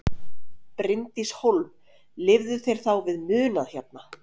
Bryndís Hólm: Lifðu þeir þá við munað hérna?